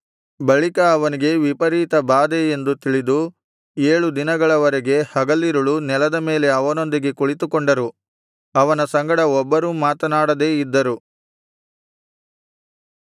ಬಳಿಕ ಅವನಿಗೆ ವಿಪರೀತ ಬಾಧೆ ಎಂದು ತಿಳಿದು ಏಳು ದಿನಗಳವರೆಗೆ ಹಗಲಿರುಳೂ ನೆಲದ ಮೇಲೆ ಅವನೊಂದಿಗೆ ಕುಳಿತುಕೊಂಡರು ಅವನ ಸಂಗಡ ಒಬ್ಬರೂ ಮಾತನಾಡದೇ ಇದ್ದರು